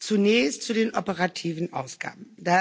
Zunächst zu den operativen Ausgaben.